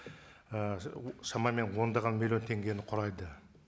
ііі шамамен ондаған миллион теңгені құрайды